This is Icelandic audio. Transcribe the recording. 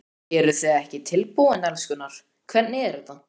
Eruð þið ekki tilbúin, elskurnar, hvernig er þetta?